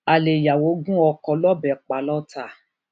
alẹ ìyàwó gun oko lọbẹ pa lọtà